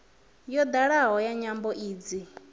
ya dalaho ya nyambo idzi